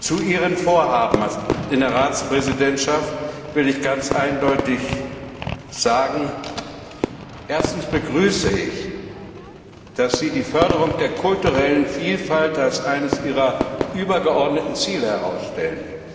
Zu Ihren Vorhaben in der Ratspräsidentschaft will ich ganz eindeutig sagen Erstens begrüße ich, dass Sie die Förderung der kulturellen Vielfalt als eines Ihrer übergeordneten Ziele herausstellen.